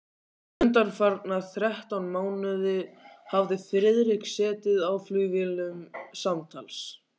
Undanfarna þrettán mánuði hafði Friðrik setið í flugvélum samtals